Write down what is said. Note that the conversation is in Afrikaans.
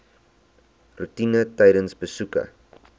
roetine tydens besoeke